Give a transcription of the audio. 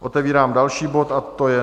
Otevírám další bod, a to je